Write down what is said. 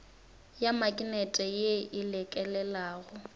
ya maknete ye e lekelelago